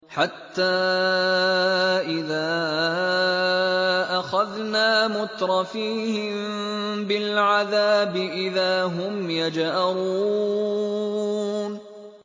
حَتَّىٰ إِذَا أَخَذْنَا مُتْرَفِيهِم بِالْعَذَابِ إِذَا هُمْ يَجْأَرُونَ